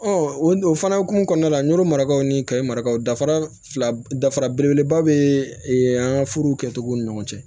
o o fana hokumu kɔnɔna la n y'o marakaw ni kayi marakaw dafara fila dafara belebeleba bɛ an ka furu kɛcogow ni ɲɔgɔn cɛ